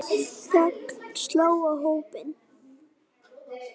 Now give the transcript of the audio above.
Þögn sló á hópinn.